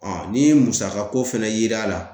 ni musaka ko fana yera a la